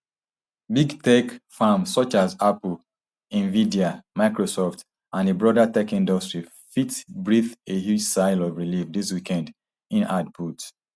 big tech firms such as apple nvidia microsoft and di broader tech industry fit breathe a huge sigh of relief dis weekend im add put